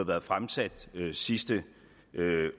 været fremsat sidste